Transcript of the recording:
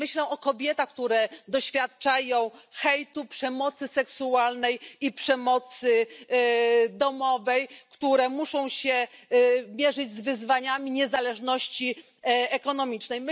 Myślę o kobietach, które doświadczają hejtu, przemocy seksualnej i przemocy domowej, gdyż muszą się mierzyć z wyzwaniami niezależności ekonomicznej.